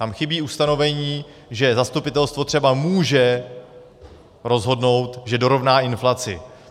Tam chybí ustanovení, že zastupitelstvo třeba může rozhodnout, že dorovná inflaci.